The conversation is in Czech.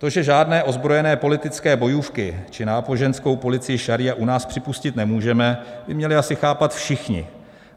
To, že žádné ozbrojené politické bojůvky či náboženskou policii šaríu u nás připustit nemůžeme, by měli asi chápat všichni.